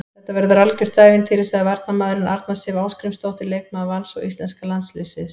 Þetta verður algjört ævintýri, sagði varnarmaðurinn, Arna Sif Ásgrímsdóttir leikmaður Vals og íslenska landsliðsins.